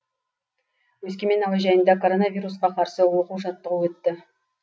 өскемен әуежайында коронавирусқа қарсы оқу жаттығу өтті